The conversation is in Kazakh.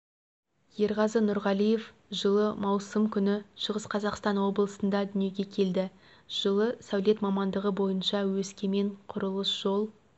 ерғазы нұрғалиев жылы маусым күні шығыс қазақстан облысында дүниеге келді жылы сәулет мамандығы бойынша өскемен құрылыс-жол